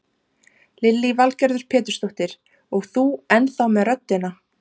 Lillý Valgerður Pétursdóttir: Og þú ennþá með röddina?